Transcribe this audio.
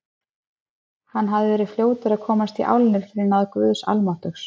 Hann hafði verið fljótur að komast í álnir fyrir náð Guðs almáttugs.